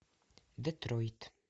детройт